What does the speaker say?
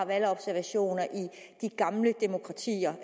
valgobservationer i de gamle demokratier